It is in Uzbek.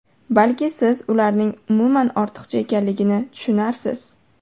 Balki siz ularning umuman ortiqcha ekanligini tushunarsiz.